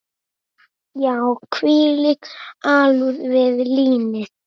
Já, þvílík alúð við línið.